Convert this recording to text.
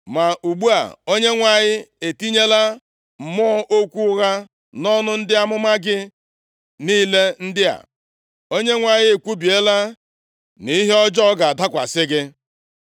“Ma ugbu a, Onyenwe anyị etinyela mmụọ okwu ụgha nʼọnụ ndị amụma gị niile ndị a. Onyenwe anyị ekwubiela nʼihe ọjọọ ga-adakwasị gị.”